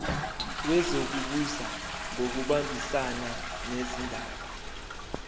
wezokubusa ngokubambisana nezindaba